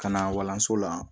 Ka na walanso la